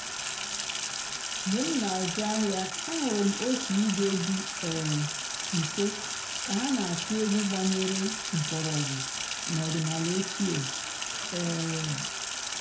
mg̀bé m nà-àzụ́ àhị́á àhụ́rụ́ m ótú ìgwé dị́ um ǹso kà há nà-àkụ́ ègwú gbànyèré m̀kpọ́rọ̀gwú n'ọ̀dị́náàlà òchíé. um